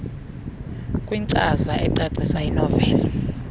kwinkcaza ecacisa inoveli